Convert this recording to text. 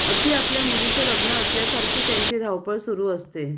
अगदी आपल्या मुलीचे लग्न असल्यासारखी त्यांची धावपळ सुरू असते